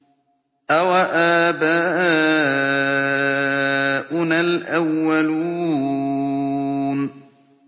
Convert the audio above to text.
أَوَآبَاؤُنَا الْأَوَّلُونَ